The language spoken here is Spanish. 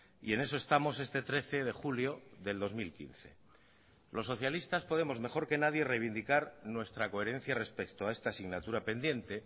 y en eso estamos este trece de julio del dos mil quince los socialistas podemos mejor que nadie reivindicar nuestra coherencia respecto a esta asignatura pendiente